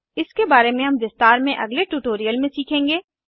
इसके बारे में हम विस्तार में अगले ट्यूटोरियल में सीखेंगे